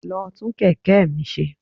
Lọ tún kẹ̀kẹ́ mi ṣe.